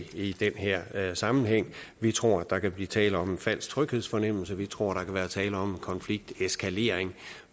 i den her sammenhæng vi tror at der kan blive tale om en falsk tryghedsfornemmelse vi tror der kan være tale om en konflikteskalering